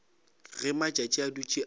ge matšatši a dutše a